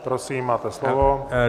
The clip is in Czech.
Prosím, máte slovo.